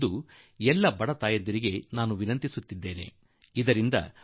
ಖು ಎಲ್ಲ ಗರ್ಭಿಣಿ ತಾಯಂದಿರು ಬಳಸಿಕೊಳ್ಳಬೇಕೆಂದು ನಾನು ಪ್ರತಿಯೊಂದು ಬಡ ಕುಟುಂಬಕ್ಕೂ ಆಗ್ರಹಪಡಿಸುವೆ